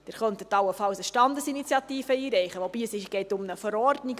Sie könnten allenfalls eine Standesinitiative einreichen, wobei: Es geht um eine Verordnung.